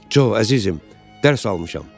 Co, əzizim, dərs almışam.